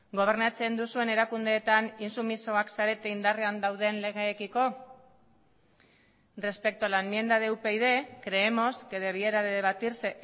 gobernatzen duzuen erakundeetan intsumisoak zarete indarrean dauden legeekiko respecto a la enmienda de upyd creemos que debiera de debatirse